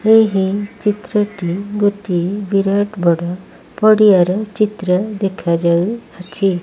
ଏହି ଚିତ୍ର ଟି ଗୋଟିଏ ବିରାଟ ବଡ଼ ପଡିଆର ଚିତ୍ର ଦେଖାଯାଉ ଅଛି।